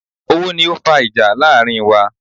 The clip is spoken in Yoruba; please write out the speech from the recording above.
Owó ni o fa ìjà láàrin wa